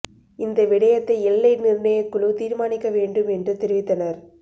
இந்த விடயத்தை எல்லை நிர்ணயக் குழு தீர்மானிக்க வேண்டும் என்று தெரிவித்தனர்